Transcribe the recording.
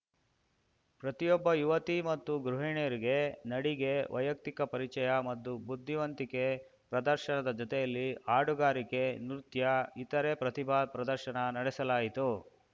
ಪ್ರತಿಯೊಬ್ಬ ಯುವತಿ ಮತ್ತು ಗೃಹಿಣಿಯರಿಗೆ ನಡಿಗೆ ವೈಯಕ್ತಿಕ ಪರಿಚಯ ಮತ್ತು ಬುದ್ಧಿವಂತಿಕೆ ಪ್ರದರ್ಶನದ ಜೊತೆಯಲ್ಲಿ ಹಾಡುಗಾರಿಕೆ ನೃತ್ಯ ಇತರೆ ಪ್ರತಿಭಾ ಪ್ರದರ್ಶನ ನಡೆಸಲಾಯಿತು